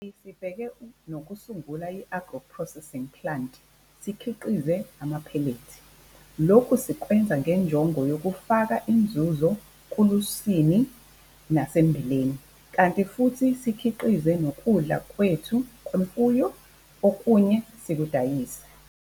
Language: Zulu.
Kanti sibheke nokusungula i-agro processing plant sikhiqize amaphelethi. Lokhu sikwenza ngenjongo yokufaka inzuzo kulusini nasemmbileni, kanti futhi sizikhiqizele nokudla kwethu kwemfuyo, okunye sikudayise.